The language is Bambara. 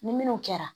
Ni minnu kɛra